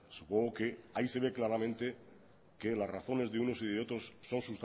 supongo que ahí se ve claramente que las razones de uno y de otros son